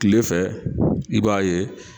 Kile fɛ i b'a ye